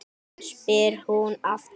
spyr hún aftur.